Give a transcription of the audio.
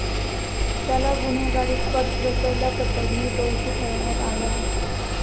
त्याला गुन्हेगारी कट रचल्याप्रकरणी दोषी ठरवण्यात आले आहे.